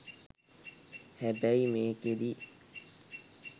හැබැයි මේකෙදි